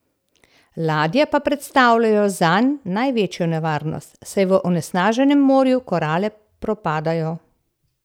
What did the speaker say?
Ladje pa predstavljajo zanj največjo nevarnost, saj v onesnaženem morju korale propadajo.